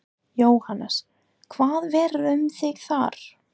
Jóhannes: Hvað verður um þig þar?